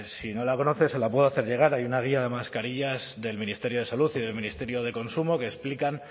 si no la conoce se la puedo hacer llegar hay guía de mascarillas del ministerio de salud y del ministerio de consumo que explican